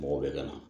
Mɔgɔw bɛ ka na